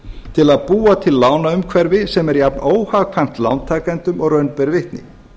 til að búa til lánaumhverfi sem er jafn óhagkvæmt lántakendum og raun ber vitni